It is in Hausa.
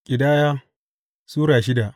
Ƙidaya Sura shida